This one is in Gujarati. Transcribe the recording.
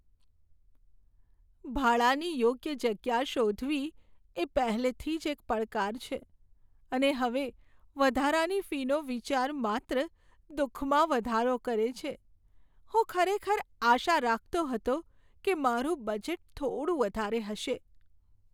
ભાડાની યોગ્ય જગ્યા શોધવી એ પહેલેથી જ એક પડકાર છે, અને હવે વધારાની ફીનો વિચાર માત્ર દુઃખમાં વધારો કરે છે. હું ખરેખર આશા રાખતો હતો કે મારું બજેટ થોડું વધારે હશે.